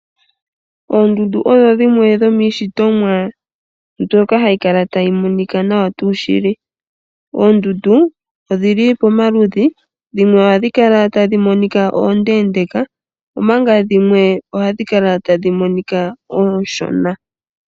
Oondundu odho dhimwe dhomiishitomwa mbyoka hayi kala tayi monika nawa tuu shili. Oondundu odhili pomaludhi dhimwe ohadhi kala tadhi monika oondeendeka dhimwe ohadhi kala tadhi monika ooshona.